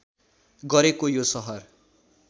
गरेको यो सहर